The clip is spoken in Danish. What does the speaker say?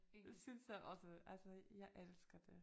Det synes jeg også altså jeg elsker det